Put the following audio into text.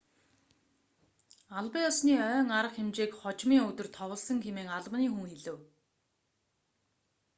албан ёсны ойн арга хэмжээг хожмын өдөр товлосон хэмээн албаны хүн хэлэв